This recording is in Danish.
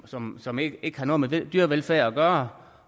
som som ikke ikke har noget med dyrevelfærd at gøre